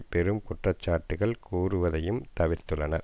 பெரும் குற்ற சாட்டுக்கள் கூறுவதையும் தவிர்த்துள்ளனர்